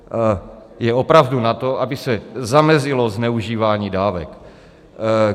Je opravdu na to, aby se zamezilo zneužívání dávek.